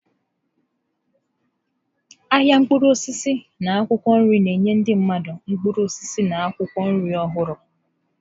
Ahịa mkpụrụ osisi na akwụkwọ nri na-enye ndị mmadụ mkpụrụ osisi na akwụkwọ nri ọhụru.